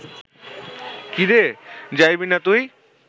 কি রে, যাইবি না তুই